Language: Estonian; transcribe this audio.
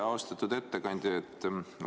Austatud ettekandja!